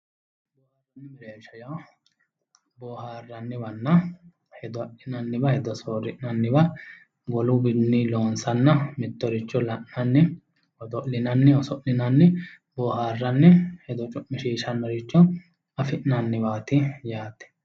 booharsha yaa boohaarranniwanna hedo hedo adhinanniwa hedo soorri'nanniwa woluwinni loonsanna mittoricho la'nanni odo'linanni oso'linanni booharranni hedo cu'mishiishshannoricho afi'nanniwaati yaate